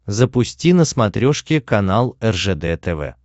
запусти на смотрешке канал ржд тв